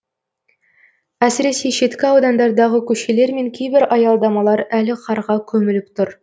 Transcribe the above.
әсіресе шеткі аудандардағы көшелер мен кейбір аялдамалар әлі қарға көміліп тұр